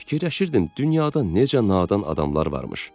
Fikirləşirdim dünyada necə nadan adamlar varmış.